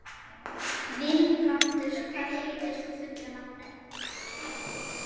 Vilbrandur, hvað heitir þú fullu nafni?